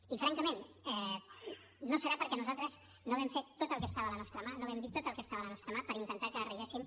i francament no serà perquè nosaltres no vam fer tot el que estava a la nostra mà no vam dir tot el que estava a la nostra mà per intentar que arribéssim